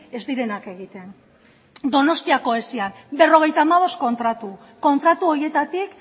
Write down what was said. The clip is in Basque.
ez direnak egiten donostiako esian berrogeita hamabost kontratu kontratu horietatik